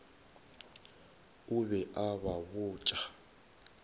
o be a ba botša